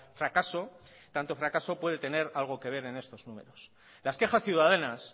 fracaso tanto fracaso puede tener algo que ver en estos números las quejas ciudadanas